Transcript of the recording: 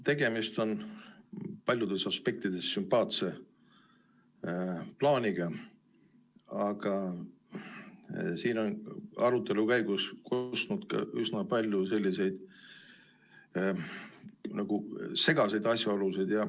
Tegemist on paljudes aspektides sümpaatse plaaniga, aga siin on arutelu käigus kostnud ka üsna palju selliseid segaseid asjaolusid.